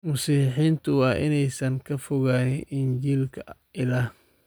Masiixiyiintu waa inaysan ka fogaan injiilka Ilaah